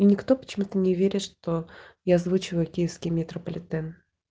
и никто почему-то не верит что я озвучиваю киевский метрополитен